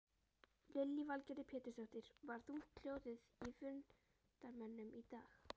Lillý Valgerður Pétursdóttir: Var þungt hljóðið í fundarmönnum í dag?